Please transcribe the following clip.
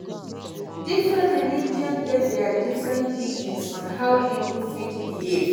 Different religion get their different teachings on how pipo fit behave